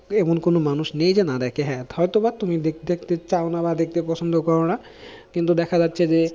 এমন কোনো মানুষ নেই যে না দেখে, হ্যাঁ হয়তো বা তুমি দেখতে চাও না বা দেখতে পছন্দ করো না কিন্তু দেখা যাচ্ছে যে